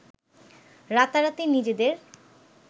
রাতারাতি নিজেদের